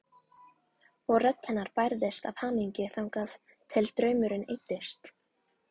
Og rödd hennar bærðist af hamingju þangað til draumurinn eyddist.